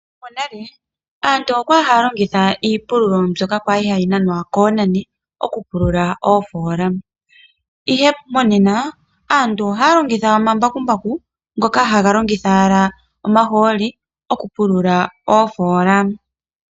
Monale aantu okwali haya longitha iipululo mbyoka kwali hayi nanwa koonani, okupulula oofola. Ihe monena aantu ohaya longitha omambakumbaku ngoka haga longitha owala omahooli, okupulula oofola.